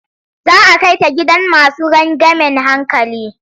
Za a kai ta gidan masu rangeamen hankali.